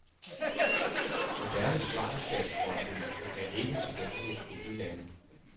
Moderne svangerskabsforbyggelse er ikke tilgængeligt i de lande.